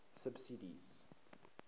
subsidies